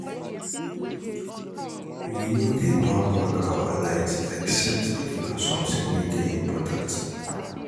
We no dey turn on our lights except if na something wey dey important